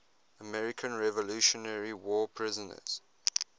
american revolutionary war prisoners